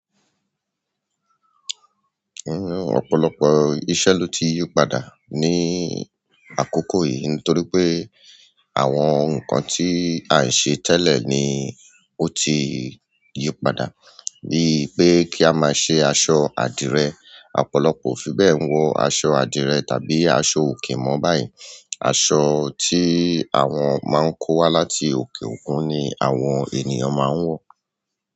Ọ̀pọ̀lọpọ̀ iṣẹ́ ló ti yípadà ní àkókò yìí nítorí pé àwọn nǹkan tí a ń ṣe tẹ́lẹ̀ ni ó ti yípadà bíi pé kí a máa ṣe aṣọ adìrẹ, ọ̀pọ̀lọpọ̀ ò fi bẹ́ẹ̀ ń wọ aṣọ adìrẹ tàbí aṣọ òkè mọ́ báyìí. Aṣọ tí àwọn máa ń kó wá láti òkè òkun ni àwọn ènìyàn máa ń wọ.